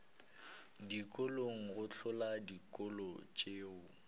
dikolong go hlola dikolo tšeo